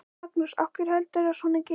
Magnús: Af hverju heldurðu að svona gerist?